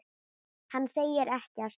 Hann segir ekkert.